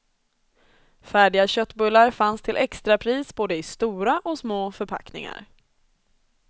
Färdiga köttbullar fanns till extrapris både i stora och små förpackningar.